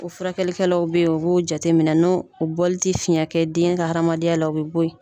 O furakɛlikɛlaw bɛ yen, u b'o jateminɛ, n'o u bɔli tɛ fiɲɛ kɛ den ka hadamadenya la u bɛ bɔ yen.